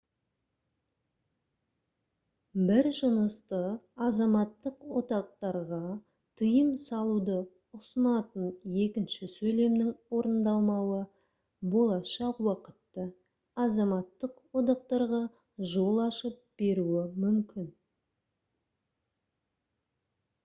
бір жынысты азаматтық одақтарға тыйым салуды ұсынатын екінші сөйлемнің орындалмауы болашақ уақытта азаматтық одақтарға жол ашып беруі мүмкін